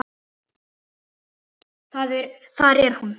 Hann brosti: Það er hún